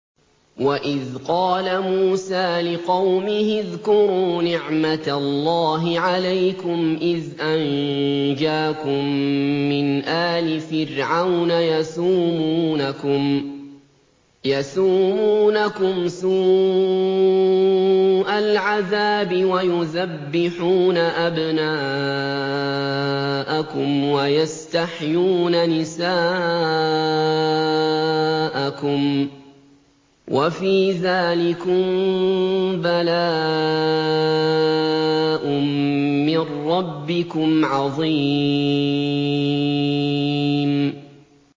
وَإِذْ قَالَ مُوسَىٰ لِقَوْمِهِ اذْكُرُوا نِعْمَةَ اللَّهِ عَلَيْكُمْ إِذْ أَنجَاكُم مِّنْ آلِ فِرْعَوْنَ يَسُومُونَكُمْ سُوءَ الْعَذَابِ وَيُذَبِّحُونَ أَبْنَاءَكُمْ وَيَسْتَحْيُونَ نِسَاءَكُمْ ۚ وَفِي ذَٰلِكُم بَلَاءٌ مِّن رَّبِّكُمْ عَظِيمٌ